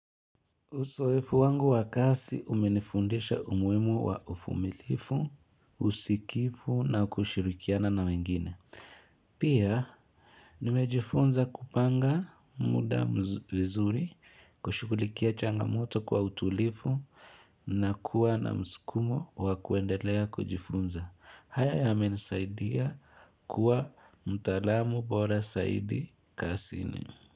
Uzoefu wangu wa kazi umenifundisha umuhimu wa uvumilifu, usikifu, na kushirikiana na wengine. Pia, nimejifunza kupanga muda vizuri, kushughulikia changamoto kwa utulivu, na kuwa na msukumo wa kuendelea kujifunza. Haya yamenisaidia kuwa mtaalamu bora zaidi kazini.